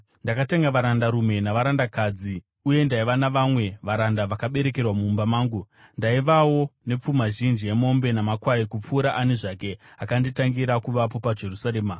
Ndakatenga varandarume navarandakadzi, uye ndaiva navamwe varanda vakaberekerwa mumba mangu. Ndaivawo nepfuma zhinji yemombe namakwai, kupfuura ani zvake akanditangira kuvapo paJerusarema.